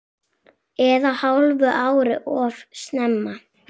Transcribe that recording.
Eða hálfu ári of snemma.